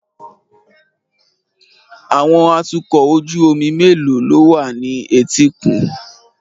Àwọn atukọ̀ ojú omi mélòó ló wà ní etíkun